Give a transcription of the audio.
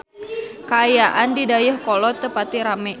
Kaayaan di Dayeuhkolot teu pati rame